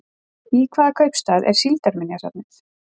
Í hvaða kaupstað er síldarminjasafnið?